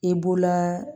I b'o laa